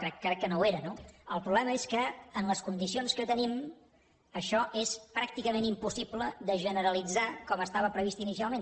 crec que no ho era no el problema és que en les condicions que tenim això és pràcticament impossible de generalitzar com estava previst inicialment